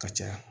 Ka caya